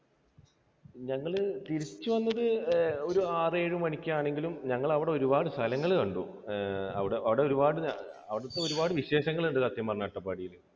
ഞങ്ങൾ തിരിച്ചു വന്നത് ഒരു ആറ് ഏഴു മണിക്ക് ആണെങ്കിലും ഞങ്ങൾ അവിടെ ഒരുപാട് സ്ഥലങ്ങൾ കണ്ടു. അവിടെ ഒരുപാട്, അവിടുത്തെ ഒരുപാട് വിശേഷങ്ങൾ ഉണ്ട് സത്യം പറഞ്ഞാൽ അട്ടപ്പാടിയിൽ.